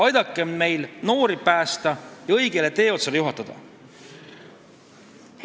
Aidakem neil noori õigele teeotsale juhatada!